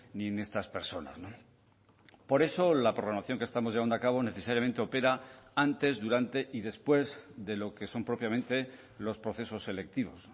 ni en estas personas por eso la programación que estamos llevando a cabo necesariamente opera antes durante y después de lo que son propiamente los procesos selectivos